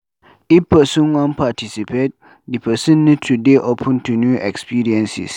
If person wan participate, di person need to dey open to new experiences